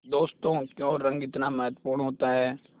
दोस्तों क्यों रंग इतना महत्वपूर्ण होता है